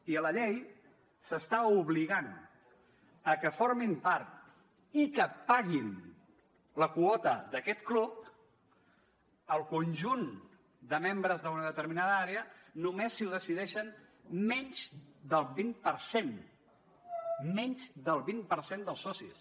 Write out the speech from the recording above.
i a la llei s’està obligant a que en formin part i que paguin la quota d’aquest club el conjunt de membres d’una determinada àrea tot i que només ho decideixin menys del vint per cent menys del vint per cent dels socis